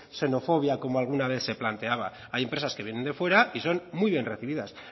xenofobia como alguna vez se planteaba hay empresas que vienen de fuera y son muy bien recibidas